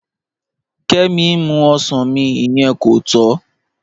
Kẹ́mí n mú ọṣàn mí, ìyẹn kò tọ́